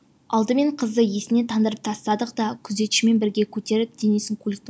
алдымен қызды есінен тандырып тастадық та күзетшімен бірге көтеріп денесін көліктің